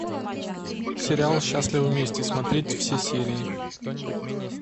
сериал счастливы вместе смотреть все серии